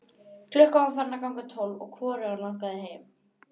Klukkan var farin að ganga tólf og hvorugan langaði heim.